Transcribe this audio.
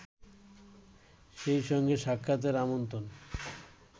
সেই সঙ্গে সাক্ষাতের আমন্ত্রণ